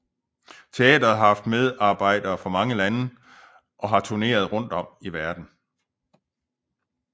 Teatret har haft medarbejdere fra mange lande og har turneret rundt om i verden